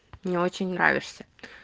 мне очень нравишься